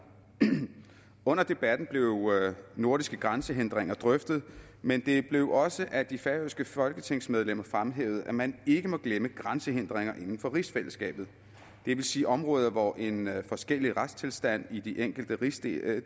under debatten blev nordiske grænsehindringer drøftet men det blev også af de færøske folketingsmedlemmer fremhævet at man ikke må glemme grænsehindringer inden for rigsfællesskabet det vil sige områder hvor en forskellig retstilstand i de enkelte rigsdele